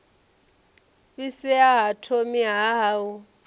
fhisea ha thomi ha u